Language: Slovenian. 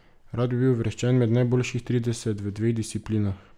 Rad bi bil uvrščen med najboljših trideset v dveh disciplinah.